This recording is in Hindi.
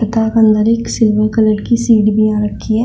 तथा अंदर एक सिल्वर कलर की सीढी भी यहां रखी है।